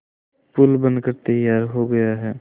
पुल बनकर तैयार हो गया है